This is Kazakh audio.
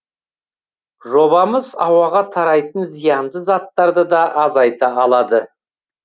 жобамыз ауаға тарайтын зиянды заттарды да азайта алады